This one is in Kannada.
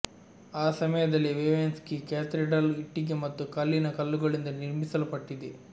ಆ ಸಮಯದಲ್ಲಿ ವ್ವೆವೆನ್ಸ್ಕಿ ಕ್ಯಾಥೆಡ್ರಲ್ ಇಟ್ಟಿಗೆ ಮತ್ತು ಕಲ್ಲಿನ ಕಲ್ಲುಗಳಿಂದ ನಿರ್ಮಿಸಲ್ಪಟ್ಟಿದೆ